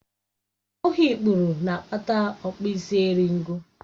Ọ bụghị ikpuru na-akpata okpisieringọ